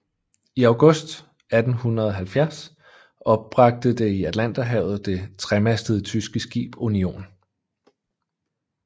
I august 1870 opbragte det i Atlanterhavet det tremastede tyske skib Union